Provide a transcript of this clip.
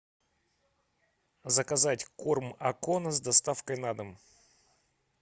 заказать корм акона с доставкой на дом